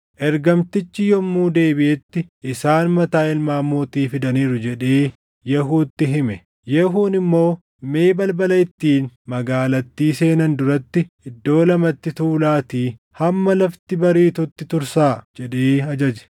Ergamtichi yommuu deebiʼetti, “Isaan mataa ilmaan mootii fidaniiru” jedhee Yehuutti hime. Yehuun immoo, “Mee balbala ittiin magaalattii seenan duratti iddoo lamatti tuulaatii hamma lafti bariitutti tursaa” jedhee ajaje.